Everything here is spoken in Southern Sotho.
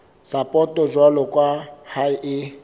sapoto jwalo ka ha e